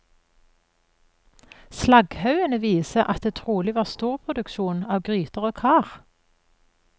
Slagghaugene viser at det trolig var storproduksjon av gryter og kar.